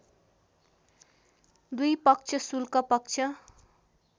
दुई पक्ष शुक्ल पक्ष